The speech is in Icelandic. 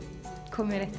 komið